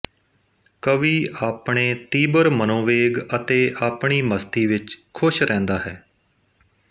ਕਵੀ ਆਪਣੇ ਤੀਬਰ ਮਨੋਵੋਗ ਅਤੇ ਆਪਣੀ ਮਸਤੀ ਵਿਚ ਖੁਸ਼ ਰਹਿੰਦਾ ਹੈ